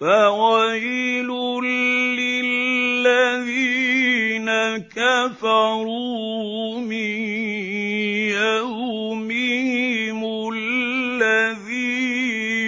فَوَيْلٌ لِّلَّذِينَ كَفَرُوا مِن يَوْمِهِمُ الَّذِي